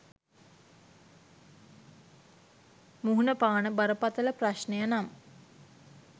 මුහුණපාන බරපතල ප්‍රශ්නය නම්